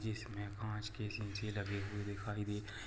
जिसमें काँच के सीसी लगे हुए दिखाई दे रहे है।